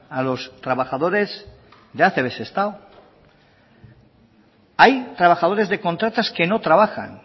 a los trabajadores de acb sestao hay trabajadores de contratas que no trabajan